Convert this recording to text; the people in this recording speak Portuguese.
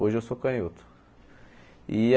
Hoje eu sou canhoto. E a